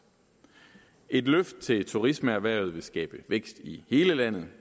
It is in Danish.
et løft til turismeerhvervet vil skabe vækst i hele landet